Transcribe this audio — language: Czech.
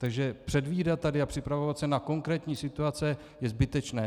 Takže předvídat tady a připravovat se na konkrétní situace je zbytečné.